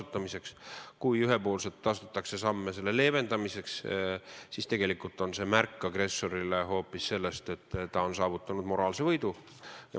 Kui astutakse ühepoolseid samme selle olukorra leevendamiseks, siis tegelikult on see agressorile märk hoopis selle kohta, et ta on saavutanud moraalse võidu.